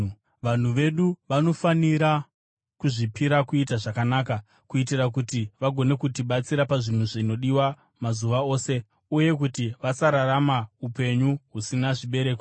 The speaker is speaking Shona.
Vanhu vedu vanofanira kudzidza kuzvipira kuita zvakanaka, kuitira kuti vagone kutibatsira pazvinhu zvinodiwa mazuva ose uye kuti vasararama upenyu husina zvibereko.